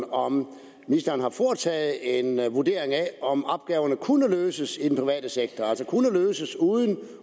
om ministeren har foretaget en vurdering af om opgaverne kunne løses i den private sektor altså kunne løses uden at